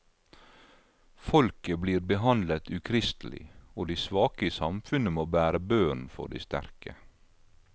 Folket blir behandlet ukristelig, og de svake i samfunnet må bære børen for de sterke.